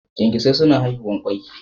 Kyankyasai suna haihuwa kwai.